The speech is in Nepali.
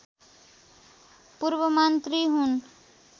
पूर्वमन्त्री हुन्